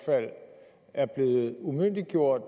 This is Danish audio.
fald er blevet umyndiggjort